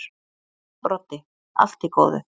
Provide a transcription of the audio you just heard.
Broddi: Allt í góðu.